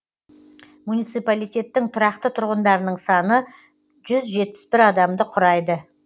муниципалитеттің тұрақты тұрғындарының саны жүз жетпіс бір адамды құрайды